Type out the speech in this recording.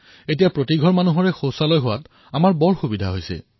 এতিয়া প্ৰতিটো ঘৰতে শৌচালয় নিৰ্মাণ হৈছে আৰু আমাৰ সুবিধা হৈছে